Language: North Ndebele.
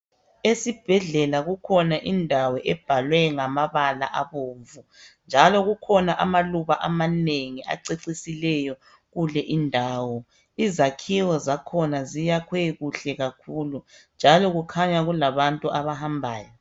Esibhedlela kukhona indawo ebhalwe ngamabala abomvu, njalo kukhona amaluba amanengi acecisileyo kule indawo. Izakhiwo zakhona ziyakhwe kuhle kakhulu, njalo kukhanya kulabantu abahambayo.